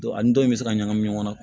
ani dɔw in bɛ se ka ɲagami ɲɔgɔn na